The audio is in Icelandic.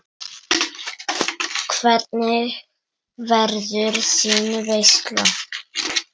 Hvernig verður þín veisla?